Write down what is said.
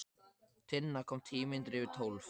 Tinna kom tíu mínútur yfir tólf.